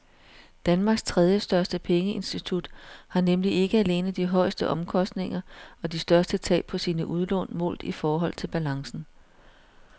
Danmarks tredjestørste pengeinstitut har nemlig ikke alene de højeste omkostninger og de største tab på sine udlån målt i forhold til balancen.